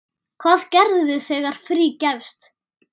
Hvað gerirðu þegar frí gefst?